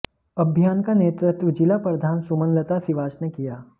अभियान का नेतृत्व जिला प्रधान सुमनलता सिवाच ने किया